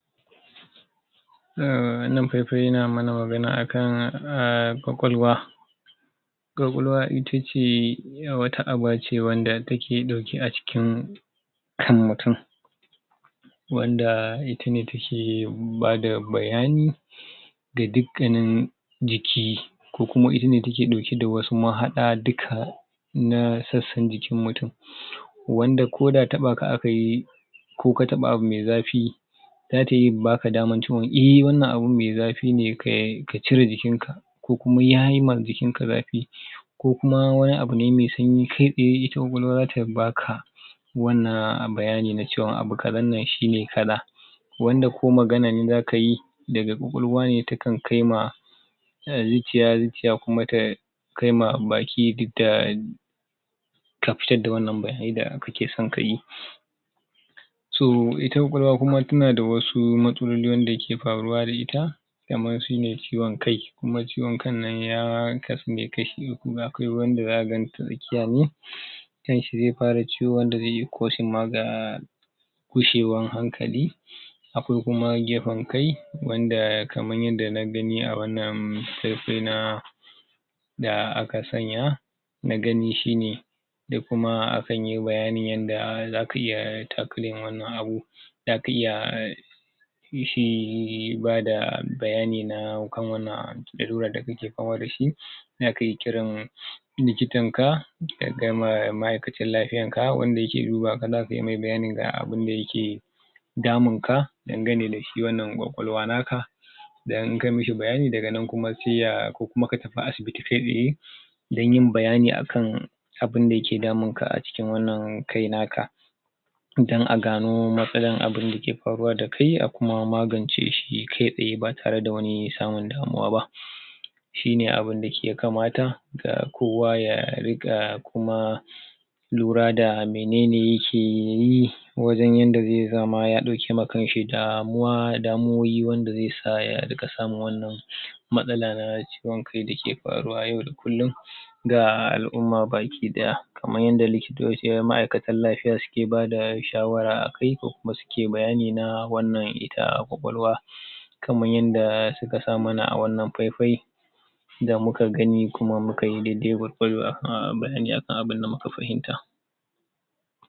um wannan paipai yana magana akan um kwakwalwa kwakwalwa itace yauwa wata aba ce wanda take dauke a cikin kan mutum wanda itane take bada bayani da dukkanin jiki ko kuma itane take dauke da wasu mahada duka na sassan jikin mutum?? wanda ko da taba ka akayi ko ka taba abu me zafi zata iya baka damar cewa eh wannan abu me zafi ne ka cire jikinka ko kuma yayi ma jikinka zafi ko kuma wani abu ne ma sanyi kai tsaye ita kwakwalwa zata baka wannan bayani na cewa abu kazan nan shine kaza wanda ko magana ne zaka yi daga kwakwalwa ne ta kan kai ma zuciya zuciya kuma ta kai ma baki duk da ka fitar da wannan bayanai da kakeson kayi so ita kwakwalwa kuma tana da wasu matsaloli wanda suke faruwa da ita kamar shine ciwon kai kuma ciwon kan nan ya kasu ne kashi hudu akwai wanda zaka ganta tsakiya ne?? kanshi zai fara ciwo wanda zai iya causing ma ga gushewan hankali akwai kuma gefen kai wanda kamar yadda na gani a wannan paipai na da aka sanya nagani shine da kuma akan yi bayani zaka iya tackling wannan abu zaka iya ki shi bada bayani na kan wannan abu ilalular da kake fama dashi za kai kiran likitan ka da kai ma ma'akacin lafiyan ka wand ake duba ka zaka iya mai bayanin ga abunda yake damunka dangane da shi wannan kwakwalwa naka dan in ka mashi bayani daga nan sai ya ko kuma ka tafi asibiti kai tsaye dan yin bayani akan abunda yake damunka a cikin wannan kai naka dan a gano matsalan abunda ke faruwa da kai a kuma magance shi kai tsaye ba tare da wani samun damuwa ba shi ne abunda ya kamata ga kowa ya ringa kuma lura da menene yake yi wajen yadda zia zama ya dauke ma kanshi damuwa damuwowi wanda zai sa ya ringa samun wannan matsala na ciwon kai da ke faruwa na yau da kullum ga al'umma baki daya kamar yadda lokitocin ma'aikatan lafiya suke bada shawara akai ko kuma suke bayani na wannan ita kwakwalwa kamar yadda suka sa mana a wannan paipai da muka gani kuma mukayi daidai gwargwado akan abunda muka fahimta